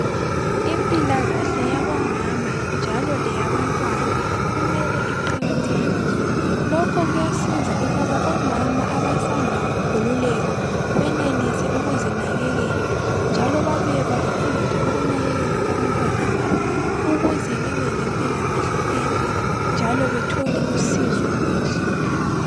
impikahle yabomama njalo leyabantwana kumele iqakathekiswe lokho kuyasiza ukuba omama abasanda kukhululeka benelise ukuzinakekela njalo babuye bafundiswe ukunakekela abantwana babo njalo ukuze bebe le mpilakahle enhle njalo bathole usizo kuhle